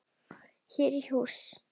Hér í hús.